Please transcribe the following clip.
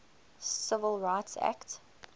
civil rights act